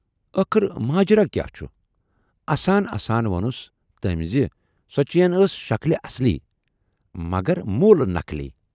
ٲخٕر ماجرٕ کیاہ چھُ؟ اَسان اَسان وونُس تمٔۍ زِ سۅ چین ٲس شکلہِ اصلی مگر مۅلہٕ نقلی۔